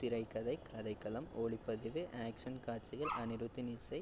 திரைக்கதை, கதைக்களம், ஒளிப்பதிவு, action காட்சிகள் அனிருத்தின் இசை,